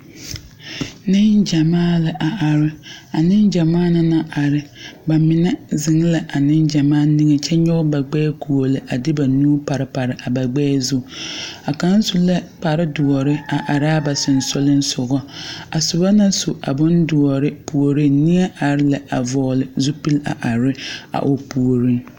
Negyamaa la a are. A negyamaa na naŋ are, ba mene zeŋ la a negyamaa niŋe kyɛ yɔge ba gbɛɛ guole a de ba nuu pare pare a ba gbɛɛ zu. A kang su la kpare duore a are a ba susugleŋsɔgo. A soba na su a bon duore pooreŋ neɛ are la a vogle zipul a are a o pooreŋ.